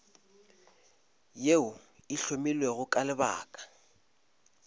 yeo e hlomilwego ka lebaka